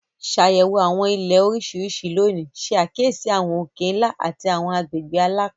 Ṣàyẹ̀wò àwọn Ilẹ̀ oríṣiríṣi lónìí, ṣe àkíyèsí àwọn òkè-ńlá àti àwọn agbègbè alapin.